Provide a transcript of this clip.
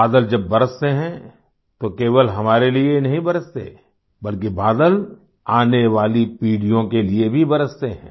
बादल जब बरसते हैं तो केवल हमारे लिए ही नहीं बरसते बल्कि बादल आने वाली पीढ़ियों के लिए भी बरसते हैं